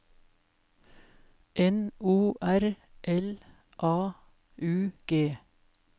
N O R L A U G